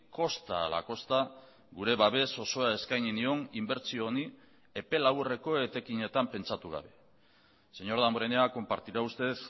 kosta ala kosta gure babes osoa eskaini nion inbertsio honi epe laburreko etekinetan pentsatu gabe señor damborenea compartirá usted